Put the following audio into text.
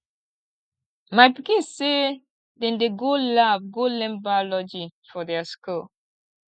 my pikin sey dem dey go lab go learn biology for their skool